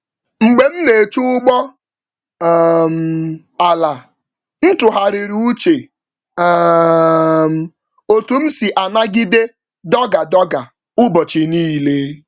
Mgbe m na-eche ụgbọ ala, m tụgharịrị uche na ka m si ejikwa nrụgide kwa ụbọchị.